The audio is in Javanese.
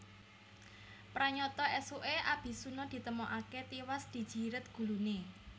Pranyata ésuké Abisuna ditemokaké tiwas dijiret guluné